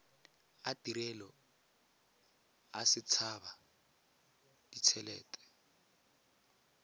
a tirelo a setshaba ditshelete